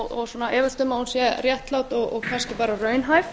og efumst um að hún sé réttlát og kannski bara raunhæf